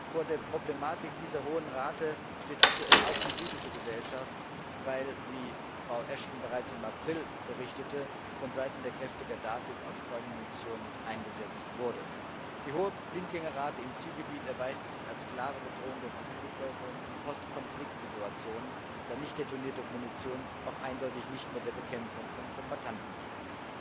Vor der Problematik dieser hohen Rate steht aktuell auch die libysche Gesellschaft, weil, wie Frau Ashton bereits im April berichtete, von Seiten der Kräfte Gaddafis auch Streumunition eingesetzt wurde. Die hohe Blindgängerrate im Zielgebiet erweist sich als klare Bedrohung der Zivilbevölkerung in Post Konflikt Situationen, da nicht detonierte Munition auch eindeutig nicht mehr der Bekämpfung von Kombattanten dient.